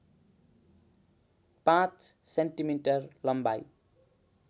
५ centimetre लम्बाइ